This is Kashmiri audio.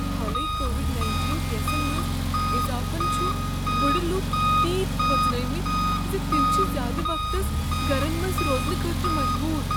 حالٕے کووڈ نٔینِٹین کیسن منٛز اضافن چھ بُڈٕ لوٗکھ تیٖتۍ کھوژنٲومٕتۍ ز تم چھ زیادٕ وقتس گرن منز روزنہٕ خٲطرٕ مجبور